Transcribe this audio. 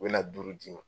U bɛ na duuru d'i ma